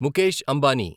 Mukesh Ambani